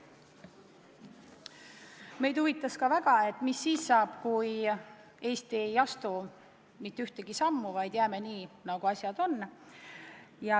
Meid huvitas ka väga, mis siis saab, kui Eesti ei astu mitte ühtegi sammu, vaid jätab asjad nii, nagu on.